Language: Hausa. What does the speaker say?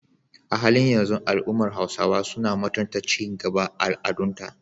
A halin yanzu, al’ummar Hausawa suna mutunta ci gaban al’adunta